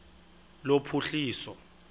lophuhliso